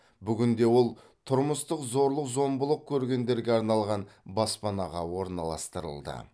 бүгінде ол тұрмыстық зорлық зомбылық көргендерге арналған баспанаға орналастырылды